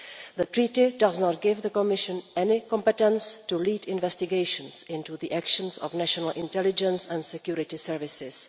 The Treaty does not give the Commission any competence to lead investigations into the actions of national intelligence and security services.